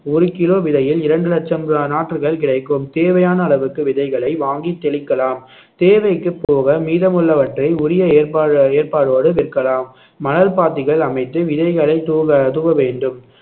ஒரு கிலோ விதையில் இரண்டு ஆஹ் லட்சம் நாற்றுகள் கிடைக்கும் தேவையான அளவுக்கு விதைகளை வாங்கி தெளிக்கலாம் தேவைக்கு போக மீதமுள்ளவற்றை உரிய ஏற்பா~ ஏற்பாடோடு விற்கலாம் மணல் பாத்திகள் அமைத்து விதைகளை தூவ தூவ வேண்டும்